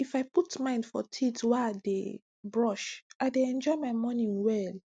if i put mind for teeth wey i dey brush i dey enjoy my morning well